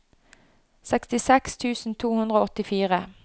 sekstiseks tusen to hundre og åttifire